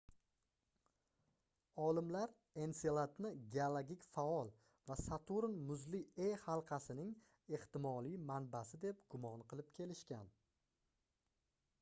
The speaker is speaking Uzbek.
olimlar enseladni geologik faol va saturn muzli e halqasining ehtimoliy manbasi deb gumon qilib kelishgan